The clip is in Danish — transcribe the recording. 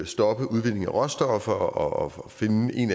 stoppe udvindingen af råstoffer og finde en